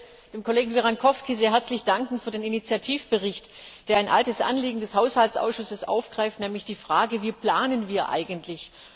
Ich möchte dem Kollegen Virrankoski sehr herzlich für den Initiativbericht danken, der ein altes Anliegen des Haushaltsausschusses aufgreift, nämlich die Fragen Wie planen wir eigentlich?